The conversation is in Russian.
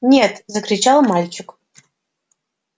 нет закричал мальчик